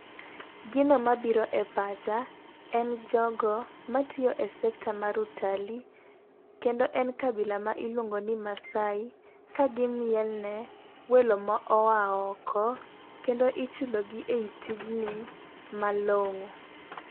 Gino mabiro e pacha en jogo matiyo e sekta mar utalii .Kendo en kabila ma iluongo ni maasai, ka gimielne welo ma oa oko, kendo ichulogi ei tijni malong'o.